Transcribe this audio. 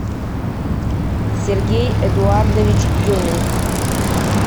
сергей эдуардович демин